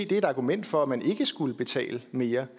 det er et argument for at man ikke skulle betale mere